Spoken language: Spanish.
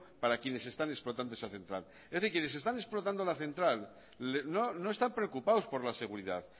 para quienes están explotando esa central es decir quienes están explotando la central no están preocupados por la seguridad